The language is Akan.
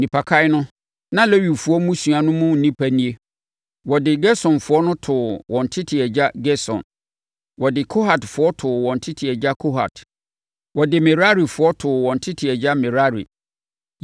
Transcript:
Nnipakan no, na Lewifoɔ mmusua no mu nnipa nie: Wɔde Gersonfoɔ too wɔn tete agya Gerson. Wɔde Kohatfoɔ too wɔn tete agya Kohat. Wɔde Merarifoɔ too wɔn tete agya Merari.